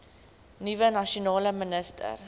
nuwe nasionale minister